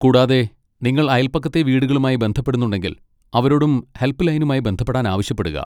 കൂടാതെ, നിങ്ങൾ അയൽപക്കത്തെ വീടുകളുമായി ബന്ധപ്പെടുന്നുണ്ടെങ്കിൽ, അവരോടും ഹെൽപ്പ് ലൈനുമായി ബന്ധപ്പെടാൻ ആവശ്യപ്പെടുക.